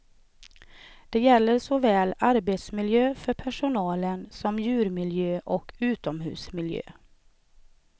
Det gäller såväl arbetsmiljön för personalen som djurmiljö och utomhusmiljö.